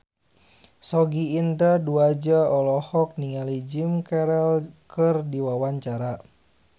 Sogi Indra Duaja olohok ningali Jim Carey keur diwawancara